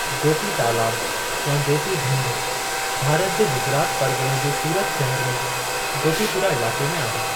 गोपी तालाब या गोपी ढंढु भारत जे गुजरात परगि॒णे जे सूरत शहर में गोपीपुरा इलाक़े में आहे।